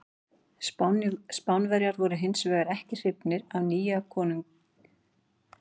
Spánverjar voru hins vegar ekki hrifnir af nýja konunginum og hófu skæruhernað gegn Frökkum.